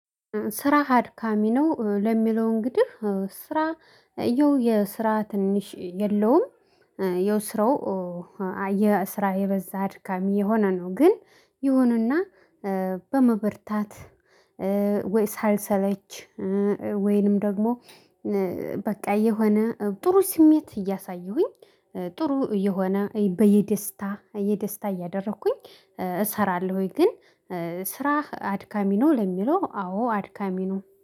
ስራህ አድካሚ ነው ለሚለው እንግዲህ ስራ ያው የስራ ትንሽ የለውም። ያው ስራው። የስራ የበዛ አድካሚ የሆነ ነው ግን ይሁንና በመበርታት ወይ ሳልሰለች ወይንም ደግሞ በቃ የሆነ ጥሩ ስሜት እያሳየሁኝ ጥሩ እየሆነ በየደስታ የደስታ እያደረኩኝ እሰራለሁ። ወይ ግን ስራህ አድካሚ ነው ለሚለው አዎ አድካሚ ነው